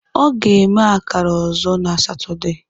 Ọ ga-eme akara ọzọ na Satọde.